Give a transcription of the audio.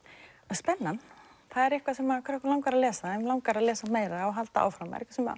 spennan það er eitthvað sem krakka langar að lesa þau langar að lesa meira og halda áfram